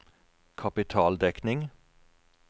kapitaldekning